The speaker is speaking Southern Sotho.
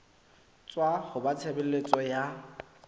tswa ho ba tshebeletso ya